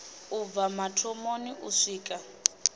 u bva mathomoni u swika